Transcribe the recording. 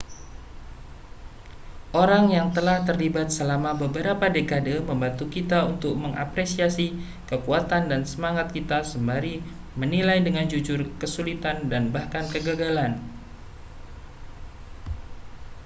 orang yang telah terlibat selama beberapa dekade membantu kita untuk mengapresiasi kekuatan dan semangat kita sembari menilai dengan jujur kesulitan dan bahkan kegagalan